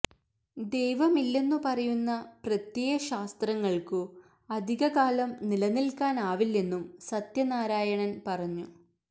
ദൈവമില്ലെന്നു പറയുന്ന പ്രത്യയ ശാസ്ത്രങ്ങൾക്കു അധിക കാലം നിലനിൽക്കാനാവില്ലെന്നും സത്യനാരായണൻ പറഞ്ഞു